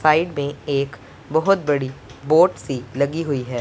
Side में एक बहोत बड़ी बोट सी लगी हुई है।